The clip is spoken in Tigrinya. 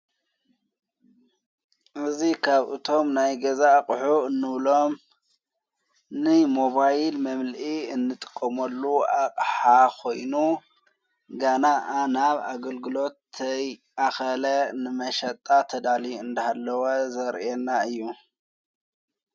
እዙይ ካብ እቶም ናይ ገዛ ቕሑ እኖብሎም ን ሞባይል መምልኢ እንጥቆሞሉ ኣቕሓኾይኑ ጋና ኣ ናብ ኣገልግሎትተይኣኸለ ንመሸጣ ተዳሊ እንዳሃለወ ዘርየና እዩ::